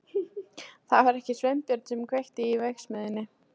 Það var ekki Sveinbjörn sem kveikti í verksmiðjunni.